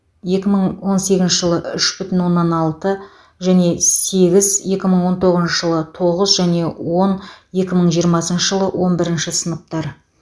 екі мың он сегізінші жылы үш бүтін оннан алты және сегіз екі мың он тоғызыншы жылы тоғыз және он екі мың жиырмасыншы жылы он бірінші сыныптар